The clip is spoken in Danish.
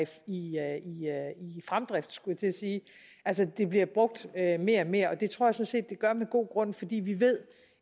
i fremdrift skulle jeg til at sige altså det bliver brugt mere og mere og det tror set det gør med god grund fordi vi ved